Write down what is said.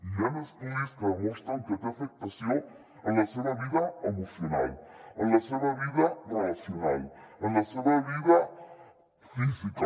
hi han estudis que demostren que té afectació en la seva vida emocional en la seva vida relacional en la seva vida física